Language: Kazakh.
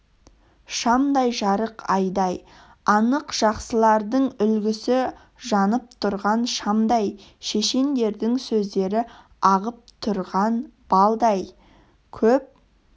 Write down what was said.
шамдай жарық айдай анық жақсылардың үлгісі жанып тұрған шамдай шешендердің сөздері ағып тұрған балдай көп